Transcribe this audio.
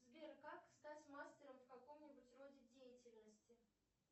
сбер как стать мастером в каком нибудь роде деятельности